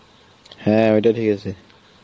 হ্যাঁ ওটা ঠিক আছে